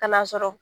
Ka n'a sɔrɔ